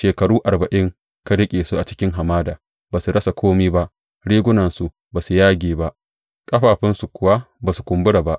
Shekaru arba’in ka riƙe su a cikin hamada; ba su rasa kome ba, rigunansu ba su yage ba, ƙafafunsu kuwa ba su kumbura ba.